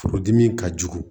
Furudimi ka jugu